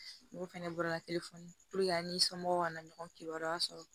N'o fɛnɛ bɔra telefɔni puruke a n'i somɔgɔw kana ɲɔgɔn kibaruya sɔrɔ